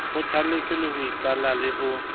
kgothaletswe ho iqalla le ho